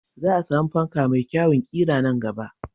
Za a samu fanka mai kyawun ƙira a nan gaba.